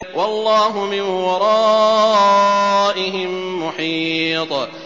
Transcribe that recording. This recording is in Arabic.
وَاللَّهُ مِن وَرَائِهِم مُّحِيطٌ